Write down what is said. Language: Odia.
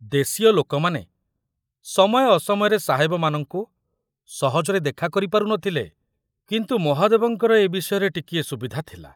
ଦେଶୀୟ ଲୋକମାନେ ସମୟ ଅସମୟରେ ସାହେବମାନଙ୍କୁ ସହଜରେ ଦେଖାକରି ପାରୁ ନ ଥିଲେ, କିନ୍ତୁ ମହାଦେବଙ୍କର ଏ ବିଷୟରେ ଟିକିଏ ସୁବିଧା ଥିଲା।